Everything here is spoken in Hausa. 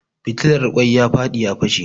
Fitilar ƙoin ya faɗi ya fashe